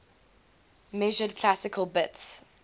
measured classical bits